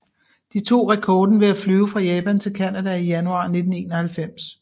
De tog rekorden ved at flyve fra Japan til Canada i januar 1991